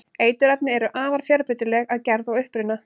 eiturefni eru afar fjölbreytileg að gerð og uppruna